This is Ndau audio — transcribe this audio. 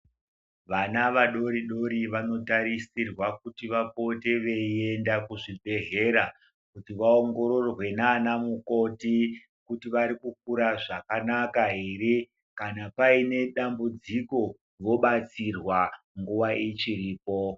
Vana vadori dori vanotarisirwa kuti vapote veienda kuzvibhedhlera kuti vaongororwa nanamukhoti kuti vari kukura zvakanaka here kana paine dambudziko vobatsirwa nguva ichiripo.